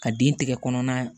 Ka den tigɛ kɔnɔna